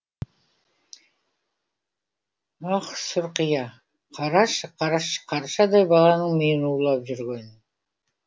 ах сұрқия қарашы қаршадай баланың миын улап жүргенін